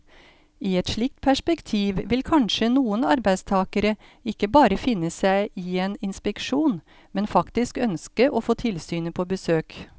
I et slikt perspektiv vil kanskje noen arbeidstagere ikke bare finne seg i en inspeksjon, men faktisk ønske å få tilsynet på besøk.